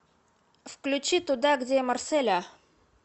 включи туда где марселя